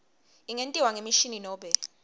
ingentiwa ngemishini nobe